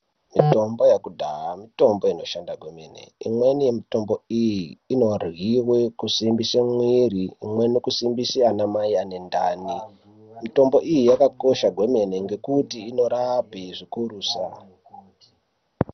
Mitombo yakudhaya mitombo inoshanda kwemene, imweni yemitombo iyi, inoryiwe kusimbise mwiiri, imweni kusimbise anamai ane ndani. Mitombo iyi, yakakosha kwemene, ngekuti inorape zvikurusa.